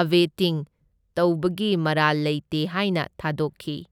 Abetting ꯇꯧꯕꯒꯤ ꯃꯔꯥꯜ ꯂꯩꯇꯦ ꯍꯥꯏꯅ ꯊꯥꯗꯣꯛꯈꯤ꯫